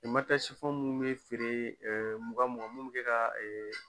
matɛ munnu be feeree mugan mugan mun be kɛ ka